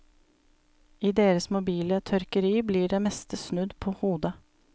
I deres mobile tørkeri blir det meste snudd på hodet.